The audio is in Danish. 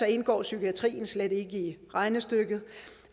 indgår psykiatrien slet ikke i regnestykket